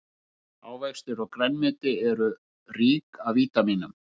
Ávextir og grænmeti eru rík af vítamínum.